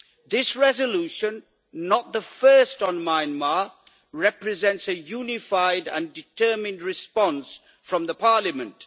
This resolution not the first on Myanmar represents a unified and determined response from Parliament.